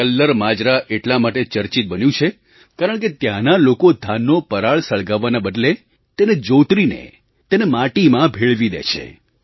કલ્લર માજરા એટલા માટે ચર્ચિત બન્યું છે કારણકે ત્યાંના લોકો ધાનનો પરાળ સળગાવાના બદલે તેને જોતરીને તેને માટીમાં ભેળવી દે છે